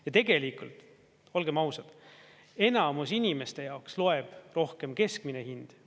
Ja tegelikult, olgem ausad, enamus inimeste jaoks loeb rohkem keskmine hind.